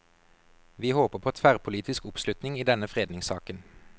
Vi håper på tverrpolitisk oppslutning i denne fredningssaken.